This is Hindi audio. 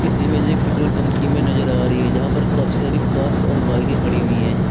इस इमेज में एक पेट्रोल पंप की इमेज नजर आ रही है यहां पर काफी सारी कार्स और बाईकें खड़ी हुई हैं।